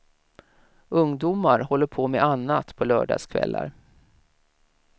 Ungdomar håller på med annat på lördagskvällar.